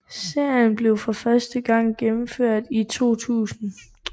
Serien blev for første gang gennemført i 2000